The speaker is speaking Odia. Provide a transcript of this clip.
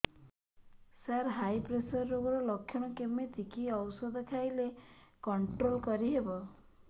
ସାର ହାଇ ପ୍ରେସର ରୋଗର ଲଖଣ କେମିତି କି ଓଷଧ ଖାଇଲେ କଂଟ୍ରୋଲ କରିହେବ